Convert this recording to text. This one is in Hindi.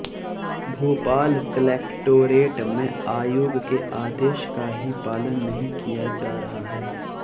भोपाल कलेक्टोरेट में आयोग के आदेश का ही पालन नहीं किया जा रहा है